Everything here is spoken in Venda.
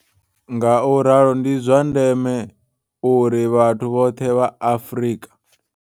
Ngauralo ndi zwa ndeme, uri vhathu vhoṱhe vha Afrika